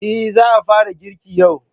Eh, za a fara girki yau.